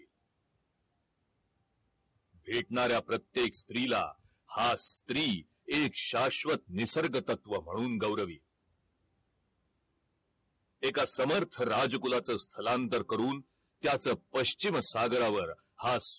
भेटणाऱ्या प्रत्येक स्त्रीला हा स्त्री एक शास्वत निसर्ग तत्व म्हणून गौरविल एका समर्थ राज कुलाच स्थलांतर करून त्याच पश्चिम सागरावर हा